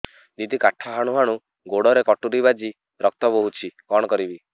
ଦିଦି କାଠ ହାଣୁ ହାଣୁ ଗୋଡରେ କଟୁରୀ ବାଜି ରକ୍ତ ବୋହୁଛି କଣ କରିବି